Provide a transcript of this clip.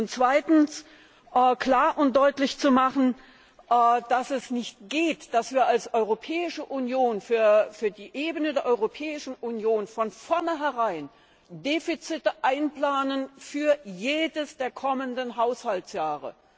Und zweitens, klar und deutlich zu machen, dass es nicht geht, dass wir als Europäische Union für die Ebene der Europäischen Union von vorneherein Defizite einplanen für jedes der kommenden Haushaltsjahre.